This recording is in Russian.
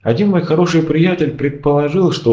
один мой хороший приятель предположил что